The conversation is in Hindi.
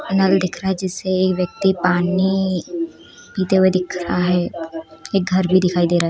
नल दिख रहा है जिससे एक व्यक्ति पानी पीते हुए दिख रहा है एक घर भी दिखाई दे रहा है।